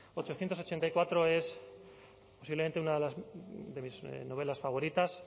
novecientos ochenta y cuatro es posiblemente una de mis novelas favoritas